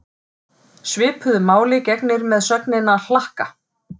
Svipuðu máli gegnir með sögnina hlakka.